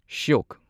ꯁ꯭ꯌꯣꯛ